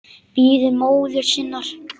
Bíður móður sinnar.